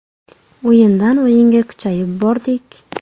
O‘yindan o‘yinga kuchayib bordik.